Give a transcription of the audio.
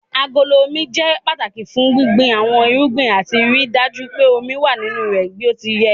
Agolo Omi jẹ́ pàtàki fún gbíngbin àwọn irúgbìn àti ríi dájú pé omi wà nínú rẹ̀ bí ó ti yẹ.